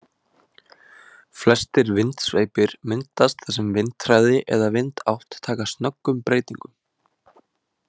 Flestir vindsveipir myndast þar sem vindhraði eða vindátt taka snöggum breytingum.